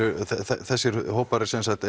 þannig þessir hópar